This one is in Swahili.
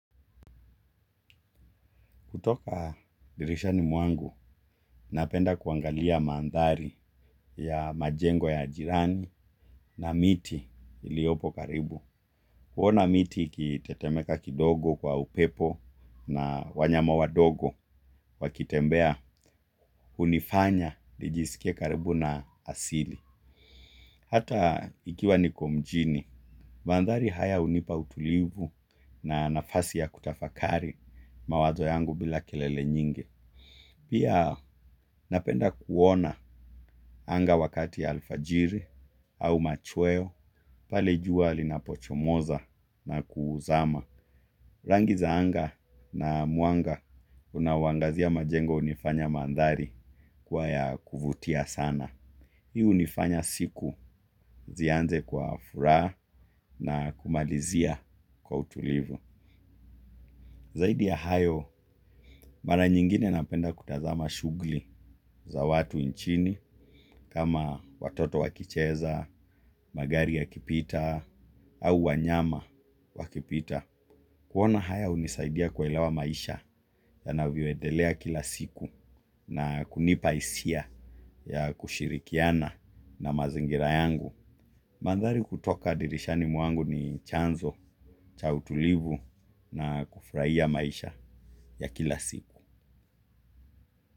Kutoka dirishani mwangu, napenda kuangalia mandhari ya majengo ya jirani na miti iliyopo karibu. Kuona miti ikitetemeka kidogo kwa upepo na wanyama wadogo wakitembea, hunifanya nijisikie karibu na asili. Hata ikiwa niko mjini, mandhari haya hunipa utulivu na nafasi ya kutafakari mawazo yangu bila kelele nyinge. Pia napenda kuona anga wakati ya alfajiri au machweo pale jua linapochomoza na kuzama. Rangi za anga na muanga unaoangazia majengo hunifanya mandhari kuwa ya kuvutia sana. Hii hunifanya siku zianze kwa furaha na kumalizia kwa utulivu. Zaidi ya hayo, mara nyingine napenda kutazama shughuli za watu nchini, kama watoto wakicheza, magari ya kipita, au wanyama wakipita. Kuona haya unisaidia kuelewa maisha yanavyo endelea kila siku na kunipa hisia ya kushirikiana na mazingira yangu. Mandhari kutoka dirishani mwangu ni chanzo cha utulivu na kufurahia maisha ya kila siku.